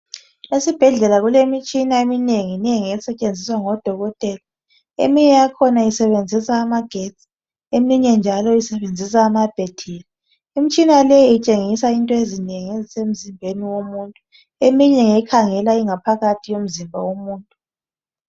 Esibhedlela kulemitshina eminenginengi esetshenziswa ngodokotela, eminye yakhona isebenzisa amagetsi, eminye njalo isebenzisa amabhathiri. Imitshina leyi itshengisa into ezinengi ezisemzimbeni womuntu. Eminye ngekhangela ingaphakathi yomzimba womuntu.